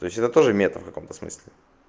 то есть это тоже метр в каком-то смысле